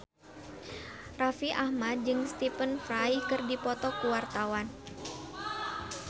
Raffi Ahmad jeung Stephen Fry keur dipoto ku wartawan